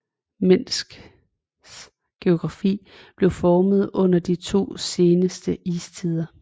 Minsks geografi blev formet under de to seneste istider